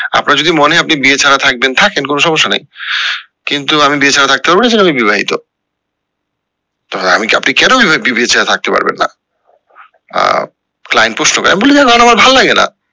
আপনার যদি মনে হয় আপনি বিয়ে ছাড়া থাকবেন থাকেন কোনো সমস্যা নাই কিন্তু আমি বিয়ে ছাড়া থাকতে পারবো না এছাড়া আমি বিবাহিত। আপনি কেন বিয়ে ছাড়া থাকতে পারবেন না আহ হবে আমি বলি না না আমার ভাল্লাগে না